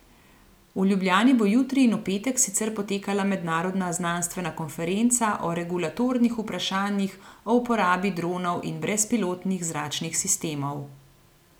V Ljubljani bo jutri in v petek sicer potekala mednarodna znanstvena konferenca o regulatornih vprašanjih o uporabi dronov in brezpilotnih zračnih sistemov.